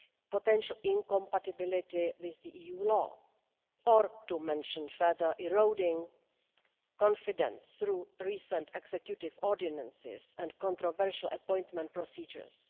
potential incompatibility with EU law, or to mention further eroding confidence through recent executive ordinances and controversial appointment procedures.